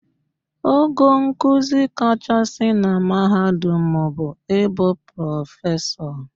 Ogo nkuzi kachasị na mahadum bụ ịbụ Prọfesọ